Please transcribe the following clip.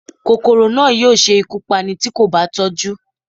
Kòkòrò náà yóò ṣe ikú Pání ti ko ba tọju